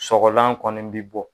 Sɔgɔlan kɔni bi bɔ